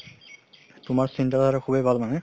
তুমাৰ চিন্তা ধাৰাতো খুবে ভাল মানে